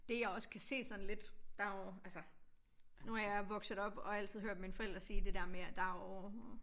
Dét jeg også kan se sådan lidt der jo altså nu er jeg vokset op og altid hørt mine forældre sige det der med at der jo